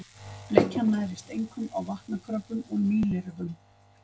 Bleikjan nærist einkum á vatnakröbbum og mýlirfum.